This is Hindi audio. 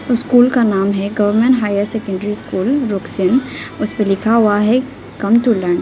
स्कूल का नाम है government higher secondary school Ruksin उसपे लिखा हुआ है कम टू लर्न ।